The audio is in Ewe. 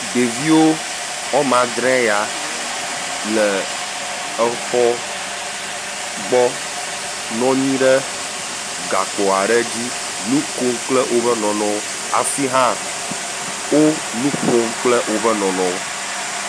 Ɖeviwo woame andre yta le exɔ gbɔ nɔnyi ɖe gakpoa ɖe dzi nu kom kple woƒe nɔnɔwo afi hã wo nu ƒom kple woƒe nɔnɔwo.